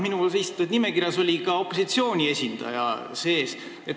Minu esitatud nimekirjas oli ka opositsiooni esindaja sees.